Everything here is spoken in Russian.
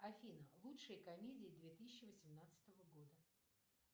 афина лучшие комедии две тысячи восемнадцатого года